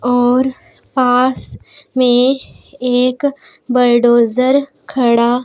और पास में एक बलडोजर खड़ा--